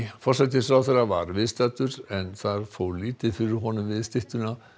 forsætisráðherra var viðstaddur en það fór lítið fyrir honum við styttuna